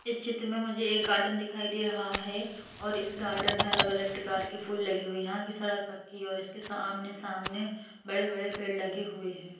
इस चित्र में मुझे एक गार्डन दिखाई दे रहा है और इस गार्डन में अलग-अलग प्रकार के फूल लगे हुए हैं यहां की सड़क पक्की और इसके आमने सामने बड़े-बड़े पेड़ लगे हुए हैं।